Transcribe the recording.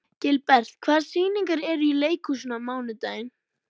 Gilbert, hvaða sýningar eru í leikhúsinu á mánudaginn?